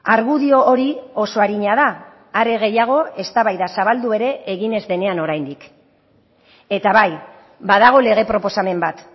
argudio hori oso arina da are gehiago eztabaida zabaldu ere egin ez denean oraindik eta bai badago lege proposamen bat